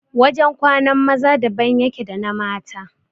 Wajan kwanan maza daban yake da na mata